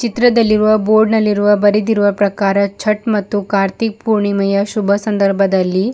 ಚಿತ್ರದಲ್ಲಿ ಇರುವ ಬೋರ್ಡ್ ನಲ್ಲಿರುವ ಬರಿದಿರುವ ಪ್ರಕಾರ ಚಟ್ ಮತ್ತು ಕಾರ್ತಿಕ್ ಪೂರ್ಣಿಮೆಯ ಶುಭ ಸಂದರ್ಭದಲ್ಲಿ --